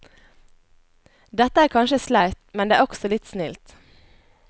Dette er kanskje sleipt, men det er også litt snilt.